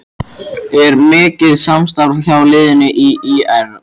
Er mikið samstarf hjá liðinu við ÍR?